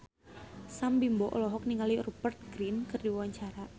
Sam Bimbo olohok ningali Rupert Grin keur diwawancara